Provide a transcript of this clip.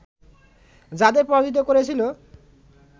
যাঁদের পরাজিত করেছিল